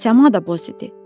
Səma da boz idi.